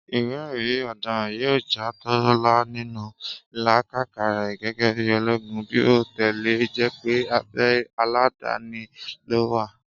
ìwé èrí ọ̀daràn yíò já Tólá nínú ìlàkàkà rè gégé bíi ológun bí o tilẹ̀ jépé abe aladani ló wà